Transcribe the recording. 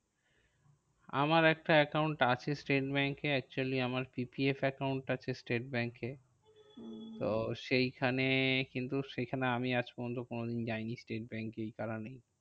আমার একটা account আছে স্টেট ব্যাঙ্কে actually আমার PPF account আছে স্টেট ব্যাঙ্কে। তো সেই খানে কিন্তু সেইখানে আমি আজ পর্যন্ত কোনোদিন যায়নি স্টেট ব্যাঙ্কে এই কারণেই।